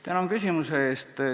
Tänan küsimuse eest!